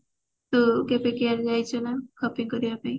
ତୁ କେବେ copy କରିବା ପାଇଁ